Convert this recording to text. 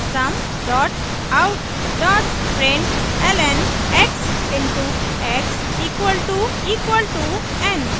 system out println x * x == n;